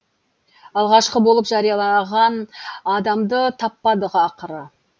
алғашқы болып жариялаған адамды таппадық ақыры